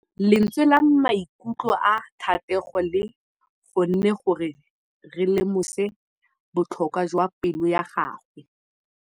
Lentswe la maikutlo a Thategô le kgonne gore re lemosa botlhoko jwa pelô ya gagwe.